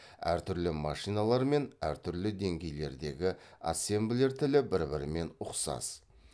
әр түрлі машиналар мен әр түрлі деңгейлердегі ассемблер тілі бір бірімен ұқсас